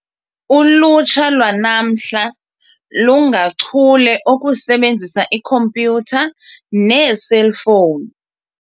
Ulutsha lwanamhla lungachule okusebenzisa ikhompyutha neeselfowuni.